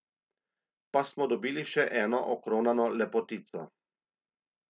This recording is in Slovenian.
Pa smo dobili še eno okronano lepotico.